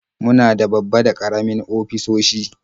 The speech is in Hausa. Muna da babba da karamin ofisoshi.